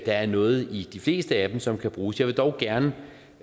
er noget i de fleste af dem som kan bruges jeg vil dog gerne